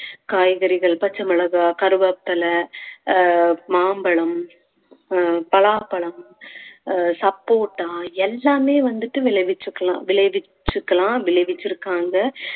காய்கறிகள் பச்சை மிளகாய் கருவேப்பிலை அஹ் மாம்பழம் அஹ் பலாப்பழம் அஹ் சப்போட்டா எல்லாமே வந்துட்டு விளைவிச்சுக்கலாம் விளைவிச்சுக்கலாம் விளைவிச்சிருக்காங்க